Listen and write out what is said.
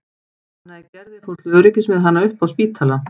Anna í Gerði fór til öryggis með hana upp á Spítala.